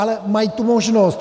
Ale mají tu možnost.